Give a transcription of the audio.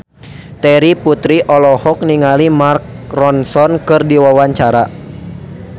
Terry Putri olohok ningali Mark Ronson keur diwawancara